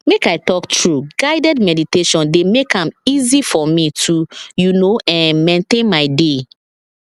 make i talk true guided meditation dey make am easy for me toyou know[um]maintain my dey